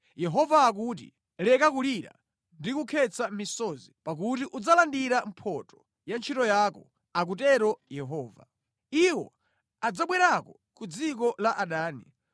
Yehova akuti, “Leka kulira ndi kukhetsa misozi pakuti udzalandira mphotho ya ntchito yako,” akutero Yehova. “Iwo adzabwerako ku dziko la adani.